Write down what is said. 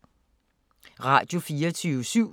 Radio24syv